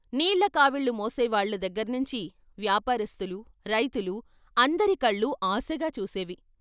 నీళ్ళకావీళ్ళు మోసేవాళ్ళ దగ్గర్నించి వ్యాపారస్తులూ, రైతులూ అందరి కళ్లూ ఆశగా చూసేవి.